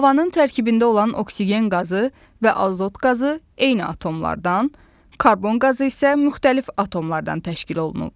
Havanın tərkibində olan oksigen qazı və azot qazı eyni atomlardan, karbon qazı isə müxtəlif atomlardan təşkil olunub.